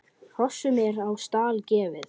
Hrossum er á stall gefið.